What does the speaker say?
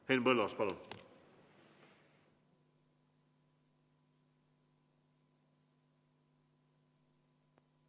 Henn Põlluaas, palun!